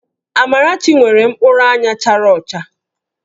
Amarachi nwere mkpụrụ anya chara ọcha